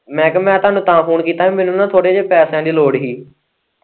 ਮੈਂ ਕਿਹਾ ਮੈਂ ਤੁਹਾਨੂੰ ਤਾਂ ਫੋਨ ਕੀਤਾ ਹੀ ਮੈਨੂੰ ਨਾ ਥੋੜ੍ਹੇ ਜਿਹੇ ਪੈਸਿਆਂ ਦੀ ਲੋੜ ਹੀ।